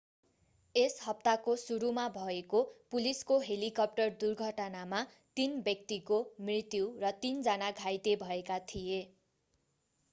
यस हप्ताको सुरुमा भएको पुलिसको हेलिकप्टर दुर्घटनामा तीन व्यक्तिको मृत्यु र तीन जना घाइते भएका थिए